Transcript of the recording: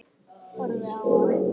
Horfi á hann.